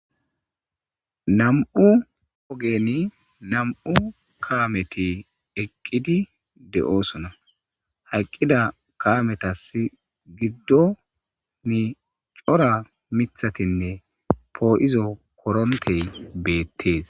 Nam7u ogenni nam7u kametti eeqidi de7osona eeqida kametas giddon cora mithatine po7izo xompey bettes